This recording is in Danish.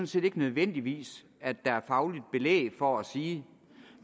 set ikke nødvendigvis at der er fagligt belæg for at sige